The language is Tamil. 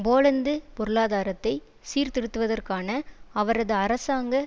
போலந்து பொருளாதாரத்தை சீர்திருத்துவதற்கான அவரது அரசாங்க